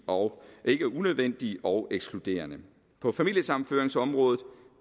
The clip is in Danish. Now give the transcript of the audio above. og ikke unødvendige og ekskluderende på familiesammenføringsområdet